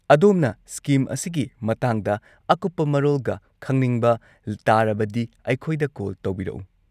ꯑꯗꯣꯝꯅ ꯁ꯭ꯀꯤꯝ ꯑꯁꯤꯒꯤ ꯃꯇꯥꯡꯗ ꯑꯀꯨꯞꯄ ꯃꯔꯣꯜꯒ ꯈꯪꯅꯤꯡꯕ ꯇꯥꯔꯕꯗꯤ ꯑꯩꯈꯣꯏꯗ ꯀꯣꯜ ꯇꯧꯕꯤꯔꯛꯎ꯫